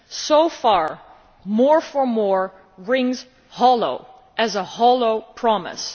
So far more for more' rings hollow, as a hollow promise.